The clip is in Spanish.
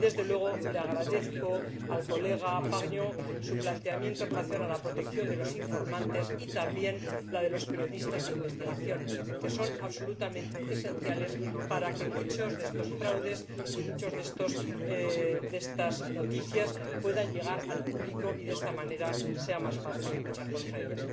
Y, desde luego, agradezco al señor Pargneaux su planteamiento en relación con la protección de los informantes y también de los periodistas de investigación, que son absolutamente esenciales para que muchos de estos fraudes y muchas de estas noticias puedan llegar al público y, de esta manera, sea más fácil luchar contra ellos.